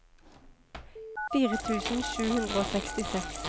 fire tusen sju hundre og sekstiseks